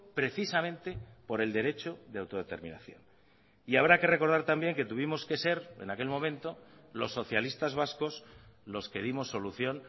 precisamente por el derecho de autodeterminación y habrá que recordar también que tuvimos que ser en aquel momento los socialistas vascos los que dimos solución